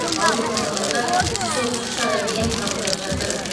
ауруханаларда жүз отыз үш адам ем қабылдап жатыр